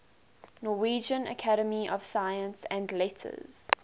norwegian academy of science and letters